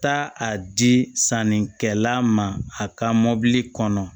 Taa a di sannikɛla ma a ka mobili kɔnɔ